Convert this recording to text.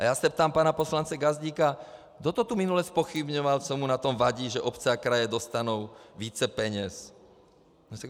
A já se ptám pana poslance Gazdíka: Kdo to tu minule zpochybňoval, co mu na tom vadí, že obce a kraje dostanou více peněz?